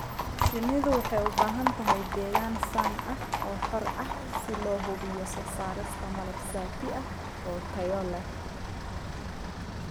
Shinnidu waxay u baahan tahay deegaan sun ah oo xor ah si loo hubiyo soo saarista malab saafi ah oo tayo leh.